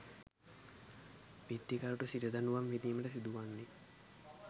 විත්තිකරුට සිර දඬුවම් විඳීමට සිදු වන්නේ